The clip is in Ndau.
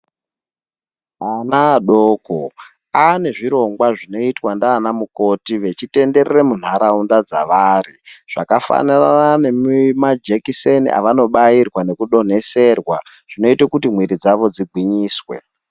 Ana adoko ane zviro gwa zvinoitwa ndiana mukoti vechitenderere muntaraunda dzavari zvakafanana nemajekiseni avanobairwa nekudoneserwa zvinoite kuti mwiri dzawo dzigwinyiswe.